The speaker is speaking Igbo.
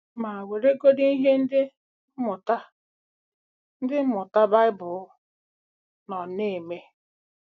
Ma, weregodị ihe Ndị Mmụta Ndị Mmụta Baịbụl nọ na-eme.